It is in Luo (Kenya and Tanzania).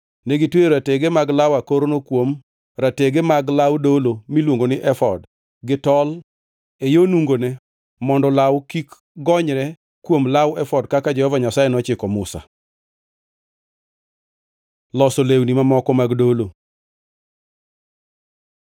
Negitweyo ratege mag law akorno kuom ratege mag law dolo miluongoni efod gi tol e yo nungone mondo law kik gonyre kuom law efod kaka Jehova Nyasaye nochiko Musa. Loso lewni mamoko mag dolo